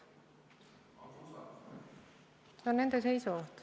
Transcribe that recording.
See on nende seisukoht.